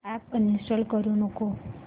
app uninstall करू नको